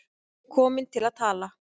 Komin til að tala.